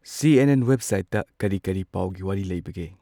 ꯁꯤ N N ꯋꯦꯕꯁꯥꯏꯠꯇ ꯀꯔꯤ ꯀꯔꯤ ꯄꯥꯎꯒꯤ ꯋꯥꯔꯤ ꯂꯩꯕꯒꯦ꯫